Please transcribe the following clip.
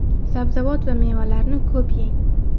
Sabzavot va mevalarni ko‘p yeng.